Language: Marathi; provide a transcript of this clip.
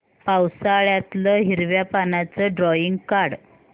पावसाळ्यातलं हिरव्या पानाचं ड्रॉइंग काढ